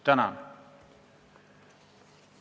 Tänan!